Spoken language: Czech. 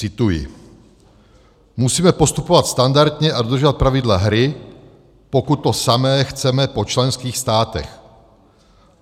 Cituji: Musíme postupovat standardně a dodržovat pravidla hry, pokud to samé chceme po členských státech.